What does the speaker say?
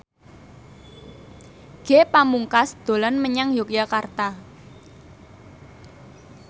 Ge Pamungkas dolan menyang Yogyakarta